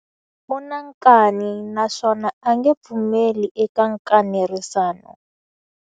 U na nkani naswona a nge pfumeli eka nkanerisano.